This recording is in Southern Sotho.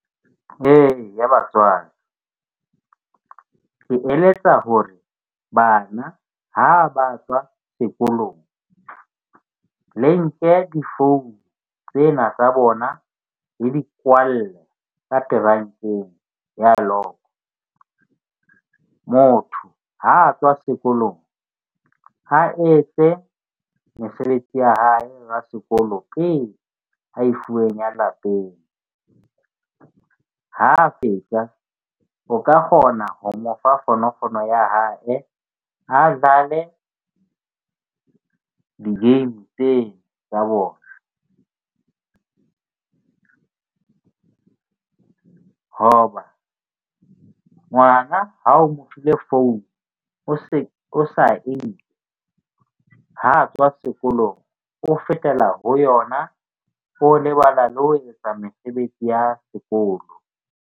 Eya, batswadi ke eletsa ho re bana ha ba tswa sekolong le nke di-phone tsena tsa bona le di kwalle ka ya log. Motho ha a tswa sekolong a etse mesebetsi ya hae wa sekolo pele a e fuweng ya lapeng. Ha fetsa o ka kgona ho mo fa fonofono ya hae a dlale di-game tsena tsa bona hoba ngwana ha o mo file phone o se o sa e nke ha tswa sekolong, o fetela ho yona. O lebala le ho etsetsa mesebetsi ya sekolo.